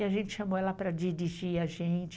E a gente chamou ela para dirigir a gente.